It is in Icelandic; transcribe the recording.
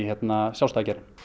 sjálfstæða geirann